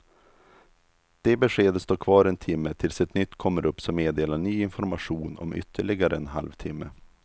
Det beskedet står kvar en timme tills ett nytt kommer upp som meddelar ny information om ytterligare en halv timme.